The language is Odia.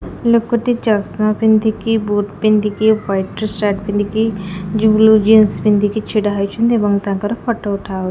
ଲୋକଟି ଚଷମା ପିନ୍ଧିକି ବୁଟ୍ ପିନ୍ଧିକି ୱାଇଟି ସାର୍ଟ ପିନ୍ଧିକି ବ୍ଲୁ ଜିନ୍ସ ପିନ୍ଧିକି ଛିଡ଼ା ହୋଇଛନ୍ତି ଏବଂ ତାଙ୍କର ଫୋଟୋ ଉଠାହଉଛି।